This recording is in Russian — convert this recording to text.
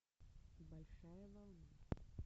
большая волна